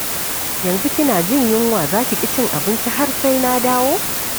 Yanzu kina jin yunwa za ki ƙi cin abinci har sai na dawo.